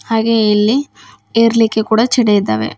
ಹಾಗೆ ಇಲ್ಲಿ ಏರ್ಲಿಕ್ಕೆ ಕೂಡ ಚೆಡಿ ಇದ್ದಾವೆ.